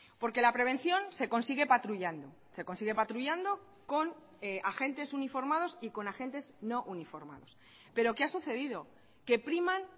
porque la prevención se consigue patrullando se consigue patrullando con agentes uniformados y con agentes no uniformados pero qué ha sucedido que priman